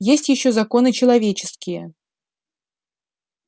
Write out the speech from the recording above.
есть ещё законы человеческие